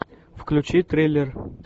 включи триллер